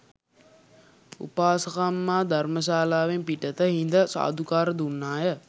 උපාසකම්මා ධර්මශාලාවෙන් පිටත හිඳ සාධුකාර දුන්නාය